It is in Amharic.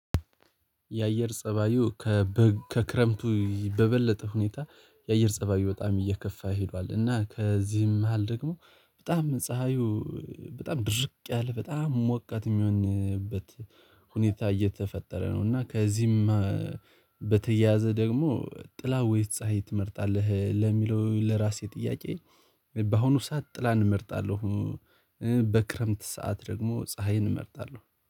የአየር ፀባዩ ከክረምቱ በበለጠ ሁኔታ የአየር ፀባዩ በጣም እየከፋ ሄዷል እና ከዚህም መሃል ደግሞ በጣም ፀሀዩ በጣም ድርቅ ያለ በጣም ሞቃት የሚሆንበት ሁኔታ እየተፈጠረ ነው። እና ከዚህም በተያያዘ ደግሞ ጥላ ወይስ ፀሀይ ትመርጣለህ? ለሚለው ለራሴ ጥያቄ በአሁኑ ሰዓት ጥላን እመርጣለሁ። በክረምት ሰዓት ደግሞ ፀሀይን እመርጣለሁ